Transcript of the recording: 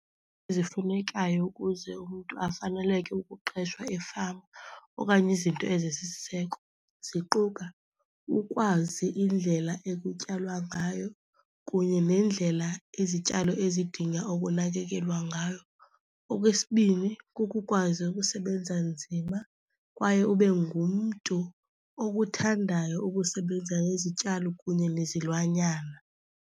Zifunekayo ukuze umntu afaneleke ukuqeshwa efama okanye izinto ezisisiseko ziquka ukwazi indlela ekutyalwa ngayo kunye nendlela izityalo ezidinga ukunakekelwa ngayo. Okwesibini, kukukwazi ukusebenza nzima kwaye ube ngumntu okuthandayo ukusebenza ngezityalo kunye nezilwanyana.